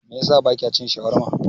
Me yasa bakya cin shawarma?